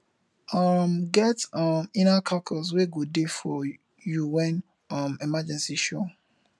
um get um inner kakus wey go de for you when um emergency show